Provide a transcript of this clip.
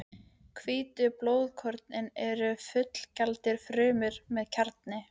Hvítu blóðkornin eru fullgildar frumur með kjarna.